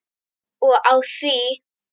Og á því!